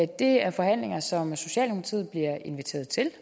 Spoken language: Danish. det er forhandlinger som socialdemokratiet bliver inviteret til